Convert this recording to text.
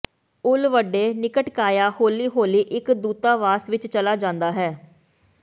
ਉਲ ਵੱਡੇ ਨਿਕਟਕਾਯਾ ਹੌਲੀ ਹੌਲੀ ਇਕ ਦੂਤਾਵਾਸ ਵਿੱਚ ਚਲਾ ਜਾਂਦਾ ਹੈ